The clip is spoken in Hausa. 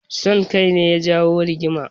Son kai ne ya jawo rigimar.